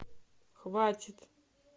хватит